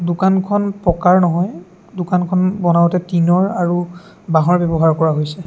দোকানখন পকাৰ নহয় দোকানখন বনাওতে টিন ৰ আৰু বাঁহৰ ব্যৱহাৰ কৰা হৈছে।